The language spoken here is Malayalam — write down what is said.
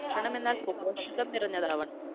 എന്നാല്‍ പോഷകം നിറഞ്ഞതാവണം.